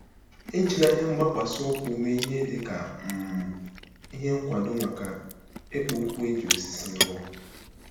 ◇ Ejila ihe mgbakwasị ụkwụ mee ihe dị ka um ihe nkwado maka ikpo okwu e ji osisi rụọ.